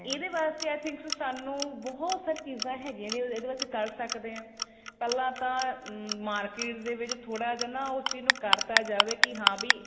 ਇਹਦੇ ਵਾਸਤੇ i thing ਸੋ ਸਾਨੂੰ ਬਹੁਤ ਸਾਰੀ ਚੀਜ਼ਾ ਹੈਗੀਆ ਇਹਦੇ ਵਿੱਚ ਕ਼ਰ ਸਕਦੇ ਆ ਪਹਿਲਾਂ ਤਾਂ market ਦੇ ਵਿੱਚ ਥੋੜਾ ਜਾ ਨਾ ਉਹ ਚੀਜ ਨੂੰ ਕਰਤਾ ਜਾਵੇ ਕੀ ਹਾਂ ਵੀ